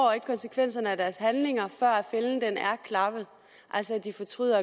konsekvenserne af deres handlinger før fælden er klappet de fortryder